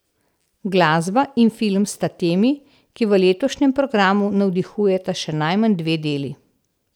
Glasba in film sta temi, ki v letošnjem programu navdihujeta še najmanj dve deli.